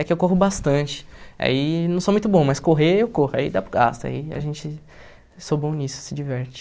É que eu corro bastante, aí não sou muito bom, mas correr eu corro, aí dá para o gasto, aí a gente sou bom nisso, se diverte.